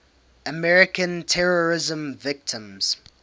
american terrorism victims